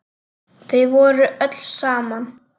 Þau voru öll saman.